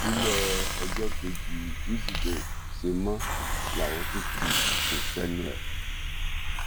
bílẹ̀ ọjọ́ kejì wísìdeè ṣe mọ́ làwọn tún tí kò ṣẹ́nu ẹ̀